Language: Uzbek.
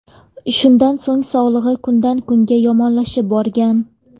Shundan so‘ng sog‘lig‘i kundan kunga yomonlashib borgan.